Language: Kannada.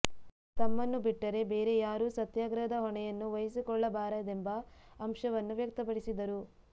ತಮ್ಮನ್ನು ಬಿಟ್ಟು ಬೇರೆ ಯಾರೂ ಸತ್ಯಾಗ್ರಹದ ಹೊಣೆಯನ್ನು ವಹಿಸಿಕೊಳ್ಳಬಾರದೆಂಬ ಅಂಶವನ್ನು ವ್ಯಕ್ತಪಡಿಸಿದರು